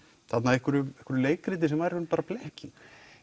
einhverju leikriti sem var í rauninni bara blekking